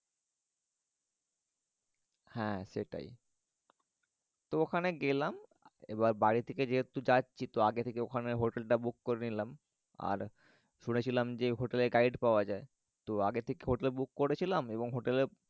হ্যা সেটাই। তো ওখানে গেলাম এবার বাড়ি থেকে যেহেতু যাচ্ছি তো আগে থেকে ওখানে হোটেলটা book করে নিলাম। আর শুনেছিলাম যে হোটেলে guide পাওয়া যায়। তো আগে থেকে হোটেল book করেছিলাম এবং হোটেলের